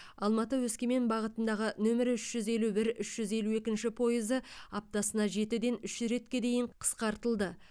алматы өскемен бағытындағы нөмірі үш жүз елубір үш жүз елу екінші пойызы аптасына жетіден үш ретке дейін қысқартылды